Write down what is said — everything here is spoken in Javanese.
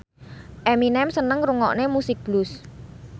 Eminem seneng ngrungokne musik blues